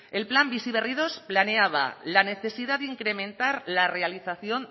el plan bizi berri segundo planeaba la necesidad de incrementar la realización